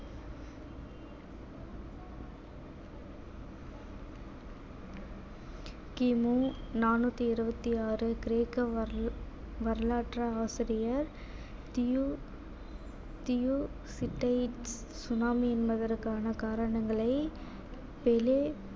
கிமு நானூத்தி இருபத்தி ஆறு கிரேக்க வர~ வரலாற்று ஆசிரியர் tsunami என்பதற்கான காரணங்களை